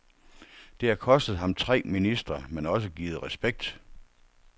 Det har kostet ham tre ministre, men også givet respekt.